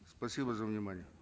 спасибо за внимание